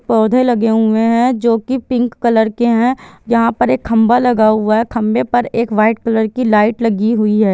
पौधे लगे हुए है जो की पिंक कलर के है जहाँ पर एक खंभा लगा हुआ है खंभे पर एक वाइट कलर की लाइट लगी हुई हैं ।